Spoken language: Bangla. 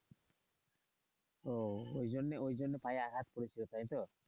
ও ওই জন্য ওই জন্য পায়ে আঘাত করেছিল তাই তো.